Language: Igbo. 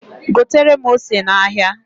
Gotere m ose n'ahịa.